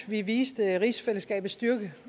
vi viste rigsfællesskabets styrke